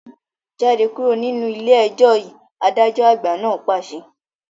Jáde kúrò nínú ilé ẹjọ́ yìí, adájọ́ àgbà náà pàṣẹ